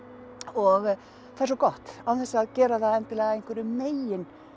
og það er svo gott án þess að gera það endilega að einhverju megin